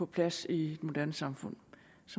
plads i et moderne samfund